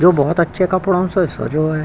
जो बहुत अच्छे कपड़ों से सजो है।